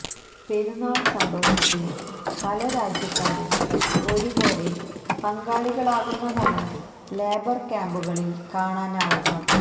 പെരുന്നാള് സന്തോഷത്തില് പലരാജ്യക്കാരും ഒരു പോലെ പങ്കാളികളാകുന്നതാണ് ലേബര് ക്യാമ്പുകളില് കാണാനാവുക